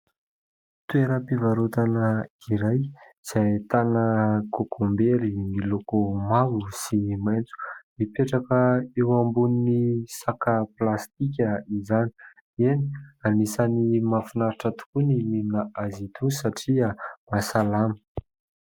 Toera-pivarotana iray, izay ahitana kokombery, miloko mavo sy maintso; mipetraka eo ambony saka plastika izany. Eny, anisany mahafinaritra tokoa ny mihinana azy itony, satria mahasalama.